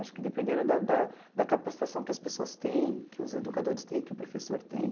Acho que dependendo da da da capacitação que as pessoas têm, que os educadores têm, que o professor tem.